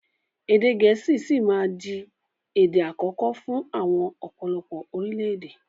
Èdè gẹ̀ẹ́sì sì máa di èdè àkọ́kọ́ fún àwọn ọ̀pọ̀lọpọ̀ orílédé